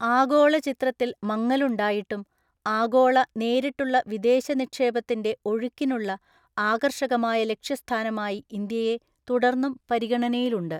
ആഗോള ചിത്രത്തില്‍ മങ്ങലുണ്ടായിട്ടും ആഗോള നേരിട്ടുള്ള വിദേശ നിക്ഷേപത്തിന്‍റെ ഒഴുക്കിനുള്ള ആകർഷകമായ ലക്ഷ്യസ്ഥാനമായി ഇന്ത്യയെ തുടർന്നും പരിഗണനയിലുണ്ട്.